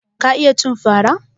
Ka iya cin fara?